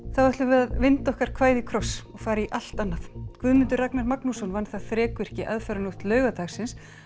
þá ætlum við að vinda okkar kvæði í kross og fara í allt annað Guðmundur Ragnar Magnússon vann það þrekvirki aðfararnótt laugardags